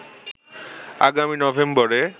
আগামী নভেম্বরে